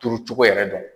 Turucogo yɛrɛ dɔn